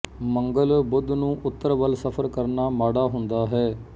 ਮੰਗਲ ਬੁੱਧ ਨੂੰ ਉੱਤਰ ਵੱਲ ਸਫ਼ਰ ਕਰਨਾ ਮਾੜਾ ਹੁੰਦਾ ਹੈ